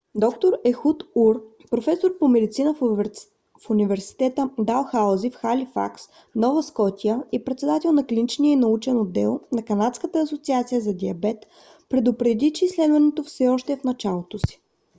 д - р ехуд ур професор по медицина в университета далхаузи в халифакс нова скотия и председател на клиничния и научен отдел на канадската асоциация за диабет предупреди че изследването все още е в началото си